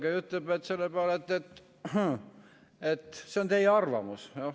Ta ütleb selle peale, et see on teie arvamus.